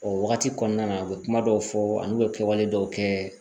O wagati kɔnɔna na u be kuma dɔw fɔ an' be kɛwale dɔw kɛ